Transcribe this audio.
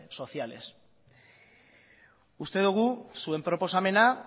sociales uste dugu zuen proposamena